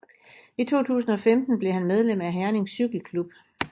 I 2015 blev han medlem af Herning Cykle Klub